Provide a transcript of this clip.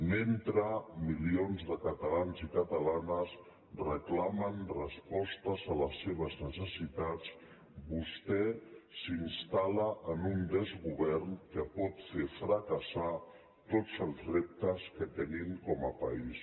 mentre milions de catalans i catalanes reclamen respostes a les seves ne·cessitats vostè s’instal·fracassar tots els reptes que tenim com a país